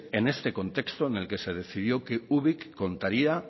en este contexto en el que se decidió que ubik contaría